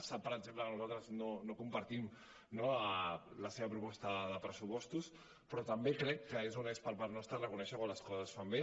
sap per exemple que nosaltres no compartim no la seva proposta de pressupostos però també crec que és honest per part nostra reconèixer quan les coses es fan bé